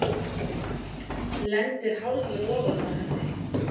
Lendir hálfur ofan á henni.